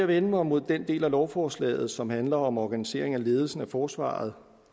vende mig mod den del af lovforslaget som handler om organiseringen af ledelsen af forsvaret